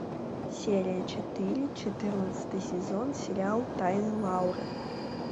серия четыре четырнадцатый сезон сериал тайны лауры